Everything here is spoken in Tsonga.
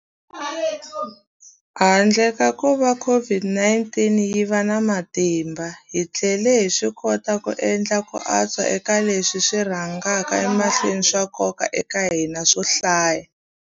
Handle ka kuva COVID-19 yi va na matimba, hi tlhele hi swikota ku endla ku antswa eka leswi swi rhangaka emahlweni swa nkoka eka hina swo hlaya.